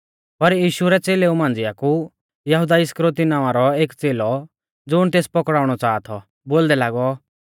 पर यीशु रै च़ेलेऊ मांझ़िआ कु यहुदा इस्करियोती नावां रौ एक च़ेलौ ज़ुण तेस पकड़ाउणौ च़ाहा थौ बोलदै लागौ